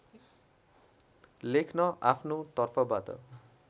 लेख्न आफ्नो तर्फबाट